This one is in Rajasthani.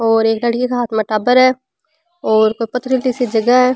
और एक लड़की के हाँथ में टाबर है और कोई पथरीली सी जगह है।